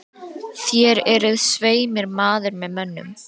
Þér eruð svei mér maður með mönnum.